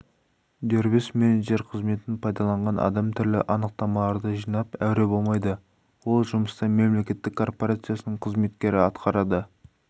дербес менеджер қызметін пайдаланған адам түрлі анықтамаларды жинап әуре болмайды ол жұмысты мемлекеттік корпорацияның қызметкері атқарады